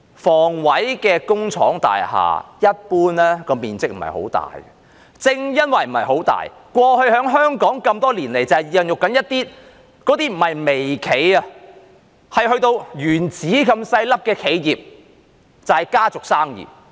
房委會工廠大廈一般面積不大，正因為不是很大，過去在香港多年來孕育出一些企業，這些企業不是微企，而是原子這麼小的企業，就是家族生意。